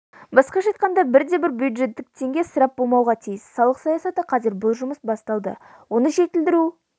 басқаша айтқанда бірде-бір бюджеттік теңге ысырап болмауға тиіс салық саясаты қазір бұл жұмыс басталды оны жетілдіру